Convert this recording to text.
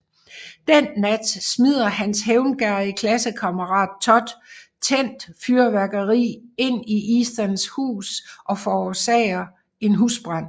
Den nat smider hans hævngerrige klassekammerat Todd tændt fyrværkeri ind i Ethans hus og forårsager en husbrand